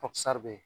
be yen